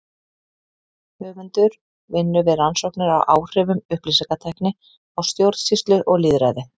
Höfundur vinnur við rannsóknir á áhrifum upplýsingatækni á stjórnsýslu og lýðræði.